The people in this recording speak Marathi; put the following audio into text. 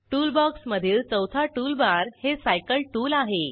टूल बॉक्स मधील चौथा टूलबार हे सायकल टूल आहे